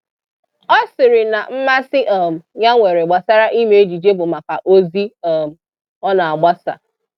Ọ sịrị na mmasị um ya nwere gbasara ime ejije bụ maka ozi um ọ na-agbasa